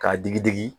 K'a digi digi